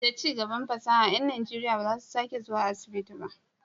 Da cigaban fasaha, ƴan Najeriya ba za su sake zuwa asibiti ba.